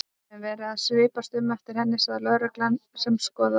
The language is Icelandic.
Við höfum verið að svipast um eftir henni sagði lögreglan sem skoðaði